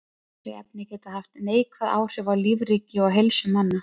Þessi efni geta haft neikvæð áhrif á lífríki og heilsu manna.